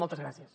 moltes gràcies